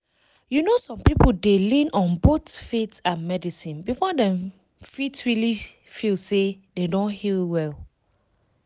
you know some people dey lean on both faith and medicine before dem fit really feel say dem don heal well.